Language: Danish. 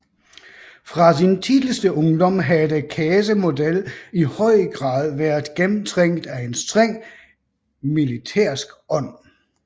Fra sin tidligste ungdom havde Kæsemodel i høj grad været gennemtrængt af en streng militærisk ånd